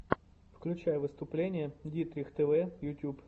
включай выступление дитрих тв ютюб